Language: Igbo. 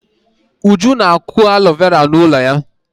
Uju na-akụ alo vera n'ụlọ ya.